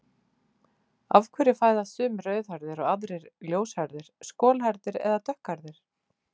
Af hverju fæðast sumir rauðhærðir og aðrir ljóshærðir, skolhærðir eða dökkhærðir?